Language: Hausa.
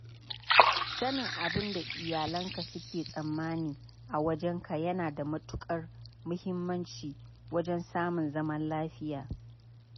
Sanin abin da iyalanka suke tsammani a wajenka yana da matuƙar muhimmanci wajen samun zaman lafiya.